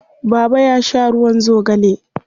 Baba ya sha ruwan zogale.